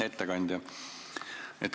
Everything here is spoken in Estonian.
Hea ettekandja!